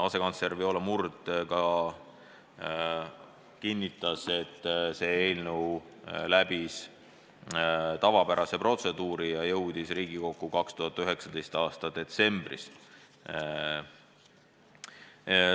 Asekantsler Viola Murd kinnitas, et see eelnõu läbis tavapärase protseduuri ja jõudis Riigikokku 2019. aasta detsembris.